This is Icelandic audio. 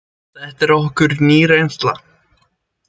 Þetta er okkur ný reynsla.